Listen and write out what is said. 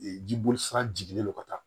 jiboli sira jigilen don ka taa